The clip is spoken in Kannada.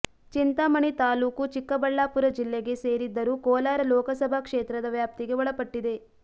ಚಿಂತಾಮಣಿ ತಾಲ್ಲೂಕು ಚಿಕ್ಕಬಳ್ಳಾಪುರ ಜಿಲ್ಲೆಗೆ ಸೇರಿದ್ದರೂ ಕೋಲಾರ ಲೋಕಸಭಾ ಕ್ಷೇತ್ರದ ವ್ಯಾಪ್ತಿಗೆ ಒಳಪಟ್ಟಿದೆ